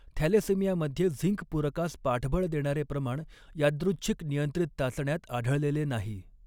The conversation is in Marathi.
थॅलेसेमियामध्ये झिंक पूरकास पाठबळ देणारे प्रमाण यादृच्छिक नियंत्रित चाचण्यांत आढळलेले नाही.